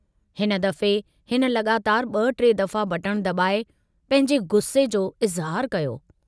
हिन दफ़े हिन लगातार ब टे दफ़ा बटण दबाए पंहिंजे गुस्से जो इज़हारु कयो।